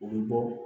O bɛ bɔ